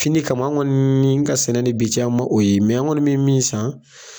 Fini kan an kɔni ka sɛnɛ ni bi cɛ an ma o ye, mɛ an kɔni mɛ min san